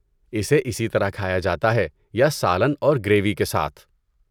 اسے اسی طرح کھایا جاتا ہے یا سالن اور گریوی کے ساتھ۔